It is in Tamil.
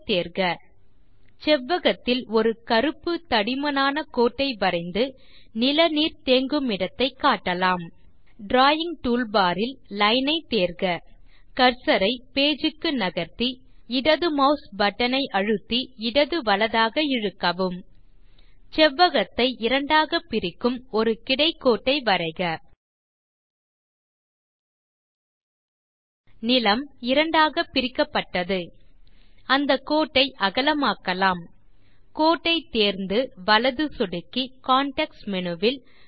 ஐ தேர்க செவ்வகத்தில் ஒரு கருப்பு தடிமனான கோட்டை வரைந்து நில நீர் தேங்குமிடத்தை காட்டலாம் டிராவிங் டூல் பார் இல் லைன் ஐ தேர்க கர்சர் ஐ பேஜ் க்கு நகர்த்தி இடது mouse பட்டன் ஐ அழுத்தி இடது வலதாக இழுக்கவும் செவ்வகத்தை இரண்டாக பிரிக்கும் ஒரு கிடை கோட்டை வரைக நிலம் இரண்டாக பிரிக்கப்பட்டது அந்த கோட்டை அகலமாக்கலாம் கோட்டை தேர்ந்து வலது சொடுக்கி கான்டெக்ஸ்ட் மேனு வில்